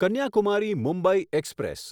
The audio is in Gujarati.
કન્યાકુમારી મુંબઈ એક્સપ્રેસ